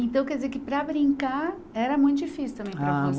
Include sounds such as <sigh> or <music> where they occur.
Então, quer dizer que para brincar era muito difícil também para <unintelligible>